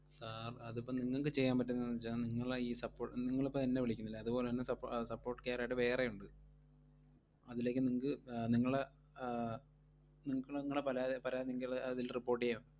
sir അതിപ്പം നിങ്ങക്ക് ചെയ്യാൻ പറ്റുന്നതെന്താന്നു വെച്ചാൽ നിങ്ങളെ ഈ സപ്പോ~ നിങ്ങള് ഇപ്പോ എന്നെ വിളിക്കുന്നില്ലേ അതുപോലെ തന്നെ സപ്പോ~ അഹ് support care ആയിട്ട് വേറെയുണ്ട്, അതിലേക്ക് നിങ്ങക്ക് നിങ്ങളെ ആഹ് നിങ്ങക്ക് നിങ്ങളെ പലാതി~ പരാതി നിങ്ങള് അതിൽ report ചെയ്യാം.